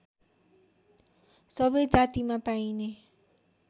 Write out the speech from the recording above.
सबै जातिमा पाइने